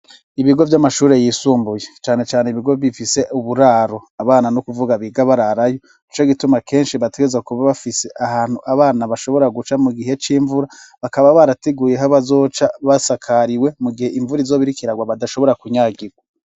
Ibigo vy'amashuri yisumbuye cane cane ibigo bifise uburaro ,abana no kuvuga biga bararayo, ico gituma kenshi bategeza kuba bafise ahantu abana bashobora guca mu gihe c'imvura, bakaba barateguye aho bazoca mugihe basakariwe ,mu gihe imvura izobirikirawa badashobora kunyagigwa.